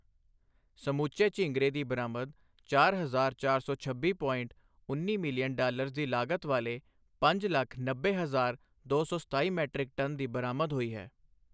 ਸਮੁੱਚੇ ਝੀਗਂਰੇ ਦੀ ਬਰਾਮਦ ਚਾਰ ਹਜ਼ਾਰ ਚਾਰ ਸੌ ਛੱਬੀ ਪੋਇੰਟ ਉੱਨੀ ਮਿਲੀਅਨ ਡਾਲਰਜ਼ ਦੀ ਲਾਗਤ ਵਾਲੇ ਪੰਜ ਲੱਖ ਨੱਬੇ ਹਜਾਰ ਦੋ ਸੌ ਸਤਾਈ ਮੀਟ੍ਰਿਕ ਟਨ ਦੀ ਬਰਾਮਦ ਹੋਈ ਹੈ।